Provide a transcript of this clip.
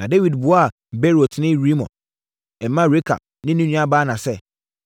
Na Dawid buaa Beerotni Rimon mma Rekab ne ne nua Baana sɛ,